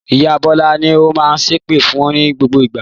Ìyá Bọ́lá ni ó máa ṣépè fun ní gbogbo ìgbà.